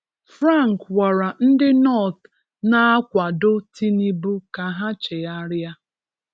Frank gwara ndị North na-akwado Tinubu ka ha chegharịa.